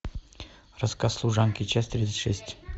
рассказ служанки часть тридцать шесть